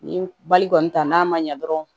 Ni bali kɔni ta n'a ma ɲɛ dɔrɔn